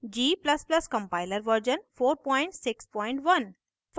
g ++ compiler version 461